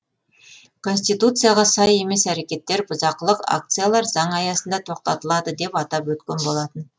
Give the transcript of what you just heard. конституцияға сай емес әрекеттер бұзақылық акциялар заң аясында тоқтатылады деп атап өткен болатын